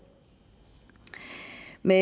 med